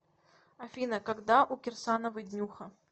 афина когда у кирсановой днюха